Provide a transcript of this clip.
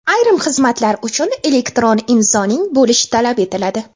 Ayrim xizmatlar uchun elektron imzoning bo‘lishi talab etiladi.